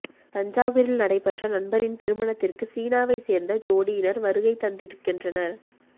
தஞ்சாவூரில் நடைபெற்ற நண்பரின் திருமணத்திற்கு சீனாவை சேர்ந்த ஜோடியினர் வருகை தந்திருக்கின்றனர்